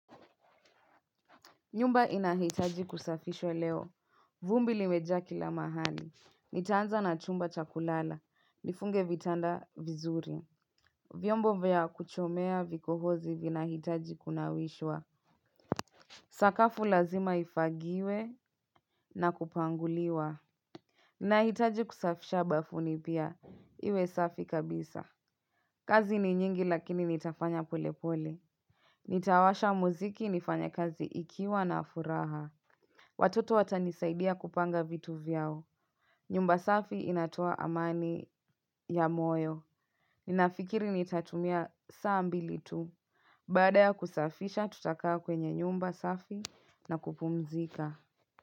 Nyumba inahitaji kusafishwa leo. Vumbi limejaa kila mahali. Nitaanza na chumba cha kulala. Nifunge vitanda vizuri. Vyombo vya kuchomea vikohozi vinahitaji kunawishwa. Sakafu lazima ifagiwe na kupanguliwa. Nahitaji kusafisha bafuni pia. Iwe safi kabisa. Kazi ni nyingi lakini nitafanya polepole. Nitawasha mziki nifanye kazi ikiwa na furaha. Watoto watanisaidia kupanga vitu vyao. Nyumba safi inatoa amani ya moyo. Ninafikiri nitatumia saa mbili tu. Baada ya kusafisha tutakaa kwenye nyumba safi na kupumzika.